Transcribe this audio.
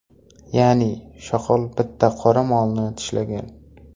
Ya’ni, shoqol bitta qora molni tishlagan.